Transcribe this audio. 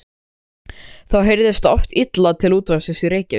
Þá heyrðist oft illa til útvarpsins í Reykjavík.